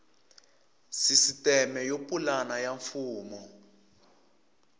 sisiteme yo pulana ya mfumo